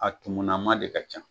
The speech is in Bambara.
A kumunama de ka ca